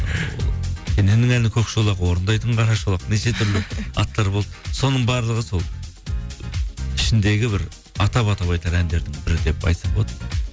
ыыы кененнің әні көкшолақ орындайтын қарашолақ неше түрлі аттар болды соның барлығы сол ішіндегі бір атап атап айтар әндердің бірі деп айтсақ болады